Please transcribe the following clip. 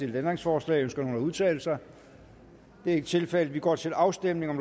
ændringsforslag ønsker nogen at udtale sig det er ikke tilfældet og vi går til afstemning